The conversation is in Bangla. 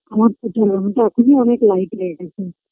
আমার তো যাওয়া হ তা এখনি অনেক light হয়ে গেছে